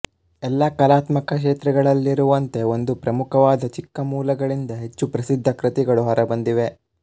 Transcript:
ಎಲ್ಲ ಕಲಾತ್ಮಕ ಕ್ಷೇತ್ರಗಳಲ್ಲಿರುವಂತೆ ಒಂದು ಪ್ರಮುಖವಾದ ಚಿಕ್ಕ ಮೂಲಗಳಿಂದ ಹೆಚ್ಚು ಪ್ರಸಿದ್ಧ ಕೃತಿಗಳು ಹೊರಬಂದಿವೆ